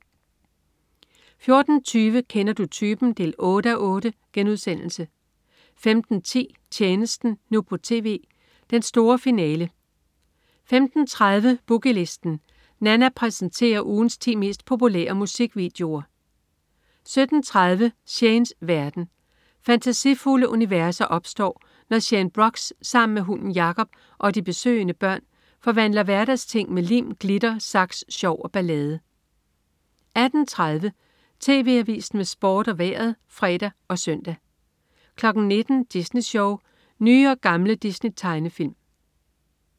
14.20 Kender du typen? 8:8* 15.10 Tjenesten, nu på TV. Den store finale 15.30 Boogie Listen. Nanna præsenterer ugens 10 mest populære musikvideoer 17.30 Shanes verden. Fantasifulde universer opstår, når Shane Brox sammen med hunden Jacob og de besøgende børn forvandler hverdagsting med lim, glitter, saks, sjov og ballade 18.30 TV Avisen med Sport og Vejret (fre og søn) 19.00 Disney Sjov. Nye og gamle Disney-tegnefilm